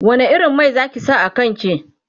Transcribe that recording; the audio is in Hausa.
wani irin Mai Zaki sa a kanki?